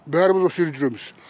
бәріміз осы жерде жүреміз